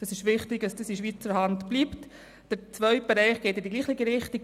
Der zweite Bereich geht in dieselbe Richtung.